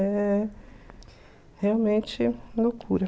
É realmente loucura.